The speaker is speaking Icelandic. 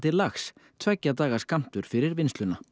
lax tveggja daga skammtur fyrir vinnsluna